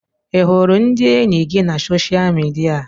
Ị hụrụ ndị enyi gị na soshaal midia?